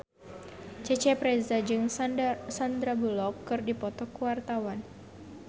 Cecep Reza jeung Sandar Bullock keur dipoto ku wartawan